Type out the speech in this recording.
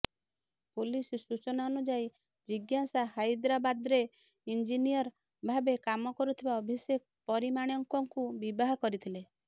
police ସୂଚନା ଅନୁଯାୟୀ ଜିଜ୍ଞାସା ହାଇଦ୍ରାବାଦ୍ରେ ଇଂଜିନିୟର ଭାବେ କାମ କରୁଥିବା ଅଭିଷେକ ପରମାଣିକଙ୍କୁ ବିବାହ କରିଥିଲେ